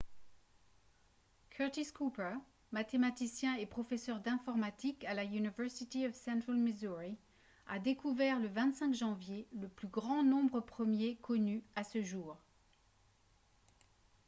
curtis cooper mathématicien et professeur d'informatique à la university of central missouri a découvert le 25 janvier le plus grand nombre premier connu à ce jour